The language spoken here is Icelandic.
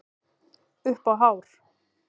Upp á hár.